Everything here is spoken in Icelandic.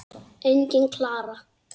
Engin Klara!